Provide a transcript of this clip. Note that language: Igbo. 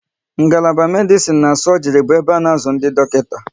Ngalaba Medisin na sọgri bụ ebe a na azụ ndị dọkịta